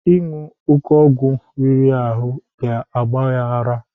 Ịṅụ oke ọgwụ riri ahụ ga-agba ya ara.